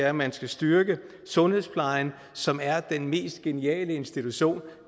at man skal styrke sundhedsplejen som er den mest geniale institution